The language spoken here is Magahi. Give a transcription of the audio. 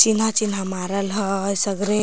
चिन्हा चिन्हा मारल है सगरे --